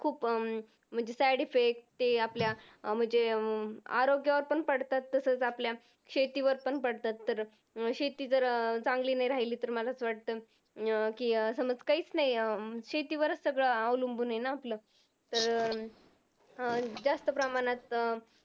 शेतीवर पण पडतात तर शेती जर अं चांगली नाही राहिली तर मला असं वाटतं अं कि समज काहीच नाही अं शेतीवरच सगळं अवलंबून आहे ना आपलं. तर अं जास्त प्रमाणात अं